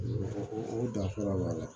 O danfara b'a la